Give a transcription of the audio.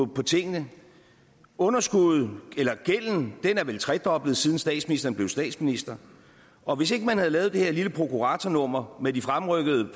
på tingene underskuddet eller gælden er vel tredoblet siden statsministeren blev statsminister og hvis ikke man havde lavet det her lille prokuratornummer med den fremrykkede